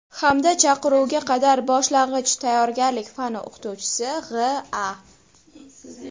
hamda Chaqiruvga qadar boshlang‘ich tayyorgarlik fani o‘qituvchisi G‘.A.